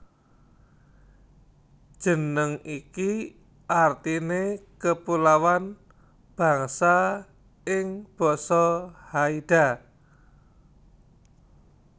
Jeneng iki artiné Kepulauan Bangsa ing basa Haida